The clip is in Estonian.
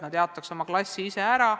Nad jaotaksid oma klassi ise ära.